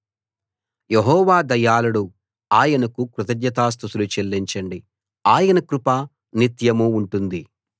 యెహోవా దయాళుడు ఆయనకు కృతజ్ఞతా స్తుతులు చెల్లించండి ఆయన కృప నిత్యం ఉంటుంది